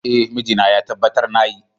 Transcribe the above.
Eh, mijina ya tabbatar na yi.